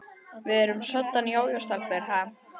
Við erum soddan jójó-stelpur, ha?